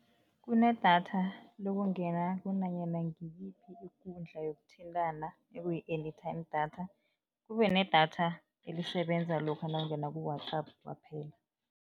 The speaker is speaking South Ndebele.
Kunedatha lokungena kunanyana ngiyiphi ikundla yokuthintana ekuyi-anytime data, kube nedatha elisebenza lokha nawungene ku-WhatsApp kwaphela.